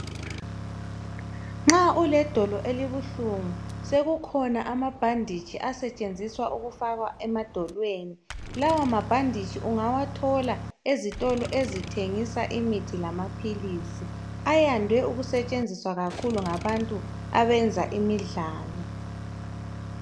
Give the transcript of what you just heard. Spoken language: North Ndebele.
Nxa uledolo elibuhlungu sekukhona amabhanditshi asetshenziswa ukufakwa emadolweni. Lawa mabhanditshi ungawathola ezitolo ezithengisa imihi lamaphilisi. Ayande ukusetshenziswa kakhulu ngabantu abayenza imidlalo.